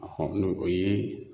o ye